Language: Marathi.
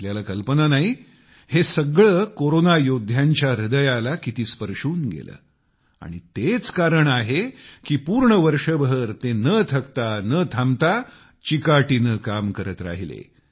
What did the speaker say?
आपल्याला कल्पना नाही हे सगळे कोरोना योद्ध्यांच्या हृदयाला किती स्पर्शून गेले आणि तेच कारण आहे की पूर्ण वर्षभर ते न थकता न थांबता चिकाटीने काम करत राहिले